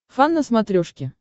фан на смотрешке